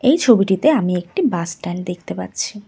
এই ছবিটিতে আমি একটি বাস স্ট্যান্ড দেখতে পাচ্ছি।